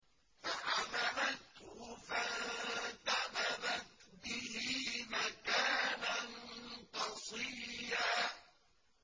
۞ فَحَمَلَتْهُ فَانتَبَذَتْ بِهِ مَكَانًا قَصِيًّا